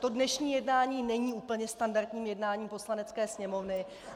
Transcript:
To dnešní jednání není úplně standardním jednáním Poslanecké sněmovny.